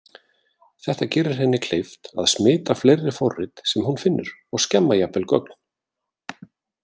Þetta gerir henni kleift að smita fleiri forrit sem hún finnur og skemma jafnvel gögn.